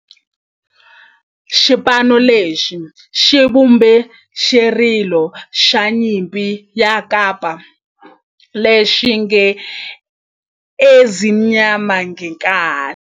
Xipano lexi xi vumbe xirilo xa nyimpi xa kampa lexi nge 'Ezimnyama Ngenkani'.